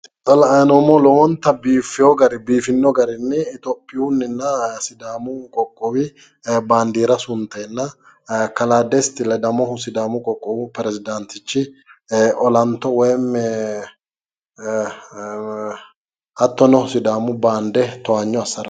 Xa la'ayi noommohu lowonta biifino garinni itiyophiyuunninna sidaamu qoqqowi bandiira sunteenna kalaa desti ledamohu sidaaamu qoqqowi perezidaantichi olanto woyiimmi hattono sidaamu baande towaanyo assara.